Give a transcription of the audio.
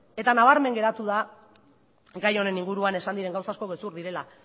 eta nabarmen geratu da gai honen inguruan esan diren gauza asko gezur direla